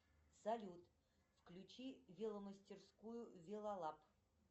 салют включи веломастерскую велолаб